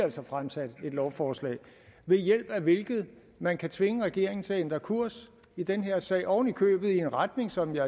altså fremsat et lovforslag ved hjælp af hvilket man kan tvinge regeringen til at ændre kurs i den her sag ovenikøbet i en retning som jeg